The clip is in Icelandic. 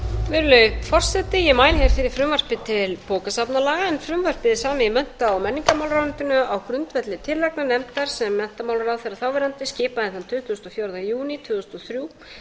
virðulegi forseti ég mæli fyrir frumvarpi til bókasafnalaga en frumvarpið er samið í mennta og menningarmálaráðuneytinu á grundvelli tillagna nefndar sem þáverandi menntamálaráðherra skipaði þann tuttugasta og fjórða júní tvö þúsund og þrjú